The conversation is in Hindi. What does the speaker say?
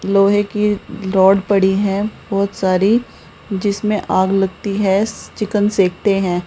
लोहे की रॉड पड़ी है बहुत सारी जिसमें आग लगती है चिकन सेकते हैं।